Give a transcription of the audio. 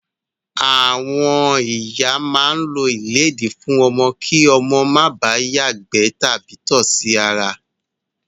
Àwọn ìyá máa ń lo ìlédìí fún ọmọ kí ọmọ máa bà á ìgbẹ́ tàbí tọ̀ sí ara.